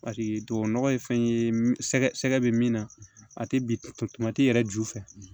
Paseke tubabu nɔgɔ ye fɛn ye sɛgɛ bɛ min na a tɛ bin yɛrɛ ju fɛ